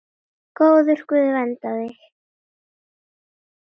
Góður Guð verndi þig.